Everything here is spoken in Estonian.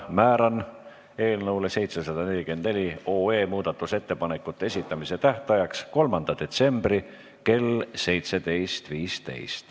Määran eelnõu 744 muudatusettepanekute esitamise tähtajaks 3. detsembri kell 17.15.